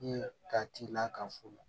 ka t'i la ka fu la